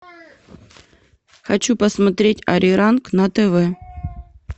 хочу посмотреть ариранг на тв